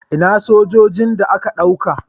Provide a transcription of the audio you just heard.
Ina sojojin da aka dauka?